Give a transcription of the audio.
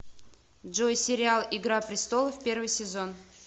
джой сериал игра престолов первый сезон